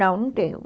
Não, não tenho.